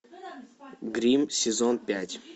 гримм сезон пять